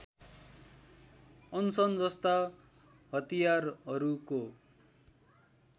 अनसन जस्ता हतियारहरूको